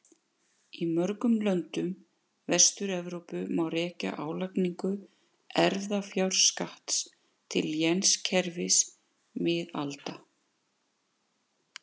Í mörgum löndum Vestur-Evrópu má rekja álagningu erfðafjárskatts til lénskerfis miðalda.